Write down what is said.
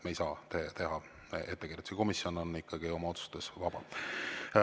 Me ei saa teha ettekirjutusi, komisjon on oma otsustes ikkagi vaba.